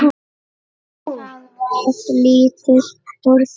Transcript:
Það varð lítið úr því.